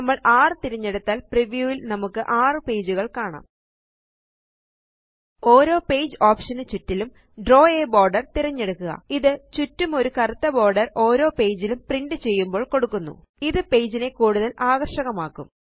നമ്മള് 6 തിരഞ്ഞെടുത്താല് ഓരോ പേജ് ഓപ്ഷൻ നും ചുറ്റിലും ദ്രാവ് a ബോർഡർ തിരഞ്ഞെടുക്കുക ഇത് ചുറ്റുമൊരു കറുത്ത ബോർഡർ ഓരോ പേജിലും പ്രിന്റ് ചെയ്യുമ്പോൾ കൊടുക്കുന്നു ഇത് പേജിനെ കൂടുതല് ആകര്ഷകമാക്കും